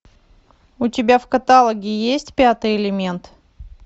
у тебя в каталоге есть пятый элемент